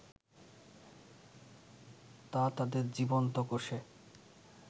তা তাদের জীবন্ত কোষে